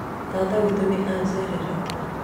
tata witũ nĩajerera